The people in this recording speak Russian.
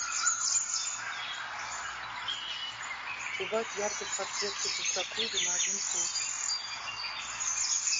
убавь яркость подсветки для джакузи на один пункт